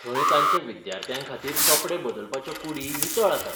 थंय तांच्या विद्यार्थ्यांखातीर कपडे बदलपाच्यो कूडी नितळ आसात.